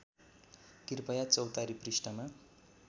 कृपया चौतारी पृष्ठमा